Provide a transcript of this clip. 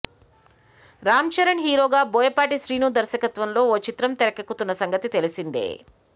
రామ్ చరణ్ హీరోగా బోయపాటి శ్రీను దర్శకత్వంలో ఓ చిత్రం తెరకెక్కుతున్న సంగతి తెలిసిందే